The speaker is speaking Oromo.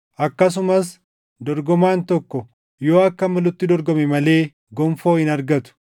Akkasumas dorgomaan tokko yoo akka malutti dorgome malee gonfoo hin argatu.